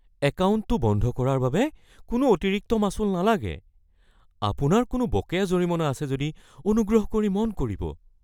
একাউণ্টটো বন্ধ কৰাৰ বাবে কোনো অতিৰিক্ত মাচুল নালাগে। আপোনাৰ কোনো বকেয়া জৰিমনা আছে নেকি অনুগ্ৰহ কৰি মন কৰিব।